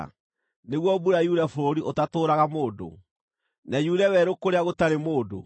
nĩguo mbura yure bũrũri ũtatũũraga mũndũ, na yure werũ kũrĩa gũtarĩ mũndũ,